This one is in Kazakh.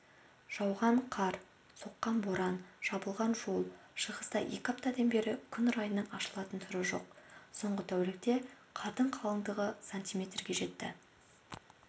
жауған қар соққан боран жабылған жол шығыста екі аптадан бері күн райының ашылатын түрі жоқ соңғы тәулікте қардың қалыңдығы сантиметрге жетті